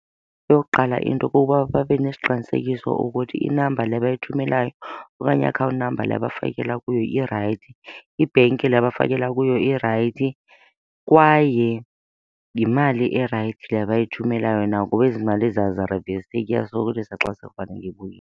Eyokuqala into kuba babe nesiqinisekiso ukuthi i-number le bayithumelayo okanye i-account number le abafakela kuyo irayithi, ibhenki le abafakela kuyo irayithi kwaye yimali erayithi le abayithumelayo na ngoba ezi mali aziriveseki, iyasokolisa xa sekufanele ibuyile.